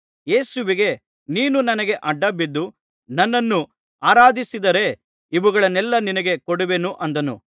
ಯೇಸುವಿಗೆ ನೀನು ನನಗೆ ಅಡ್ಡಬಿದ್ದು ನನ್ನನ್ನು ಆರಾಧಿಸಿದರೆ ಇವುಗಳನ್ನೆಲ್ಲಾ ನಿನಗೆ ಕೊಡುವೆನು ಅಂದನು